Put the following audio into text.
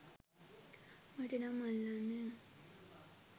මට නම් අල්ලන්නේ නෑ.